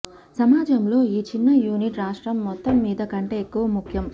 సమాజంలో ఈ చిన్న యూనిట్ రాష్ట్రం మొత్తంమీద కంటే ఎక్కువ ముఖ్యం